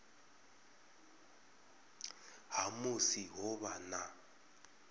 ha musi ho vha na